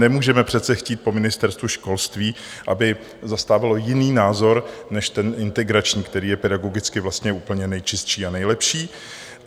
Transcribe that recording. Nemůžeme přece chtít po Ministerstvu školství, aby zastávalo jiný názor než ten integrační, který je pedagogicky vlastně úplně nejčistší a nejlepší.